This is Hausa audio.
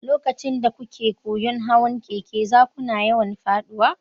Lokacin da kuke koyon hawan keke, za kuna yawan faɗuwa.